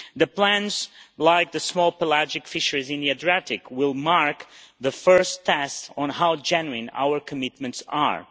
The plans, like the small pelagic fisheries in the Adriatic will mark the first test on how genuine our commitments are.